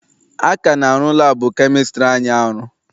A ka na-arụ laabụ kemịstri anyị arụ.